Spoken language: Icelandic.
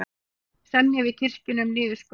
Semja við kirkjuna um niðurskurð